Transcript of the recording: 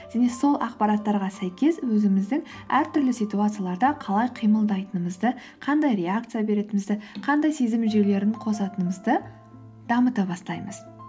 және сол ақпараттарға сәйкес өзіміздің әртүрлі ситуацияларда қалай қимылдайтынымызды қандай реакция беретінімізді қандай сезім жүйелерін қосатынымызды дамыта бастаймыз